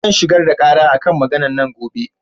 Zan shigar da ƙara a kan maganar nan gobe.